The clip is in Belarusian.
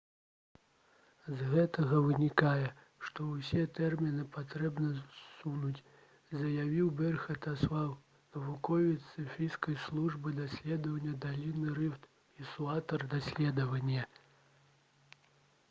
«з гэтага вынікае што ўсе тэрміны патрэбна ссунуць» — заявіў берхан асфаў навуковец з эфіопскай службы даследаванняў даліны рыфт і суаўтар даследавання